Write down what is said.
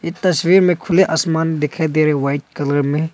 इस तस्वीर में खुले हुए आसमान दिखाई दे रहे हैं व्हाइट कलर में।